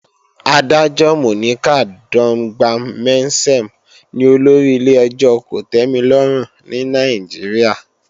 Adájọ́ Monica Dongban-Mensem ni olórí ilé-ẹjọ́ kòtẹ́milọ́rùn ní Nàìjíríà